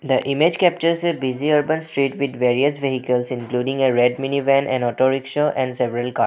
The image captures a busy urban street with various vehicles including a red mini van an auto rickshaw and several cars.